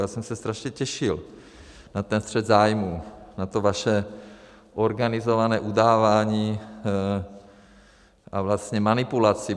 Já jsem se strašně těšil na ten střet zájmů, na to vaše organizované udávání a vlastně manipulaci.